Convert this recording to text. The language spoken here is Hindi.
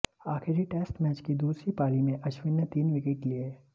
आखिरी टेस्ट मैच की दूसरी पारी में अश्विन ने तीन विकेट लिए